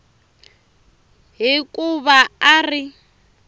hi ku va a ri